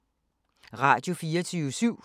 Radio24syv